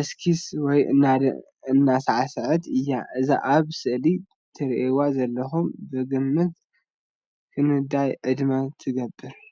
እስኪስ ወይ እንዳሳዕሰዐት እያ። እዛ ኣብ ስእሊ ትሪእዋ ዘለኩም ብግምት ክንዳይ ዕድመ ትገብር?